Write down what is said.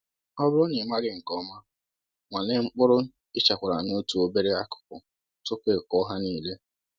Ọ bụrụ na ị maghị nke ọma, nwalee mkpụrụ i chekwara n’otu obere akụkụ tupu i kụọ ha niile